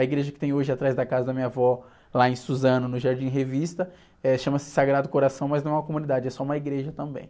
A igreja que tem hoje atrás da casa da minha avó, lá em Suzano, no Jardim Revista, eh, chama-se Sagrado Coração, mas não é uma comunidade, é só uma igreja também.